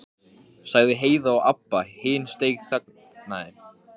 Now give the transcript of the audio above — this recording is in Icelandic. sagði Heiða og Abba hin steinþagnaði.